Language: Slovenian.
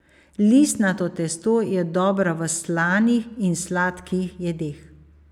Listnato testo je dobro v slanih in sladkih jedeh.